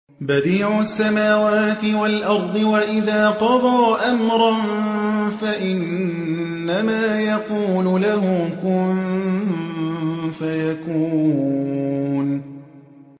بَدِيعُ السَّمَاوَاتِ وَالْأَرْضِ ۖ وَإِذَا قَضَىٰ أَمْرًا فَإِنَّمَا يَقُولُ لَهُ كُن فَيَكُونُ